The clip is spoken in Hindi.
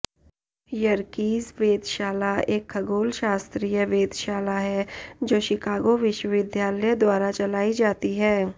यर्कीज़ वेधशाला एक खगोलशास्त्रिय वेधशाला है जो शिकागो विश्वविद्यालय द्वारा चलाई जाती है